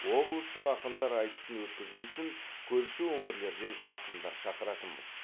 облыстық ақындар айтысын өткізу үшін көрші өңірлерден ақындар шақыратынбыз